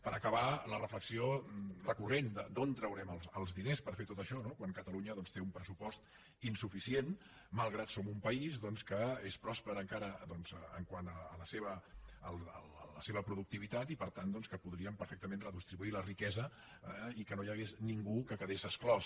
per acabar la reflexió recurrent d’on traurem els diners per fer tot això quan catalunya doncs té un pressupost insuficient malgrat que som un país que és pròsper encara quant a la seva productivitat i per tant que podríem perfectament redistribuir la riquesa i que no hi hagués ningú que quedés exclòs